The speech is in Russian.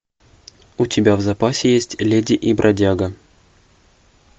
у тебя в запасе есть леди и бродяга